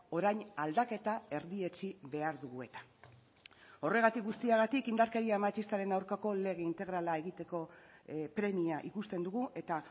orain aldaketa erdietsi behar dugu eta horregatik guztiagatik indarkeria matxistaren aurkako lege integrala egiteko premia ikusten dugu eta